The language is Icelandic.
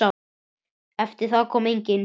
Eftir það kom enginn.